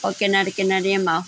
और किनर-किनर येमा।